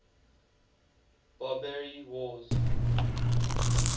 barbary wars